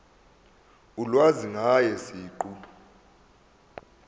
ulwazi ngaye siqu